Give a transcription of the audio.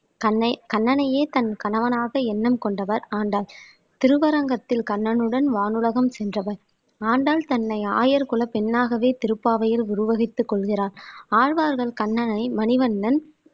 கண்னை கண்ணனையே தன் கணவனாக எண்ணம் கொண்டவர் ஆண்டாள் திருவரங்கத்தில் கண்ணனுடன் வானுலகம் சென்றவர் ஆண்டாள் தன்னை ஆயர்குலப் பெண்ணாகவே திருப்பாவையில் உருவகித்துக் கொள்கிறார் ஆழ்வார்கள் கண்ணனை மணிவண்ணன்